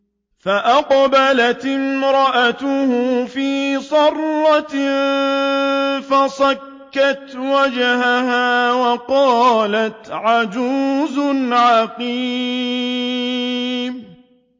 فَأَقْبَلَتِ امْرَأَتُهُ فِي صَرَّةٍ فَصَكَّتْ وَجْهَهَا وَقَالَتْ عَجُوزٌ عَقِيمٌ